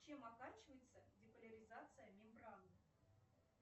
чем оканчивается деполяризация мембраны